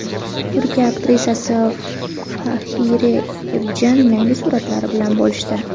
Turk aktrisasi Fahriye Evjen yangi suratlari bilan bo‘lishdi.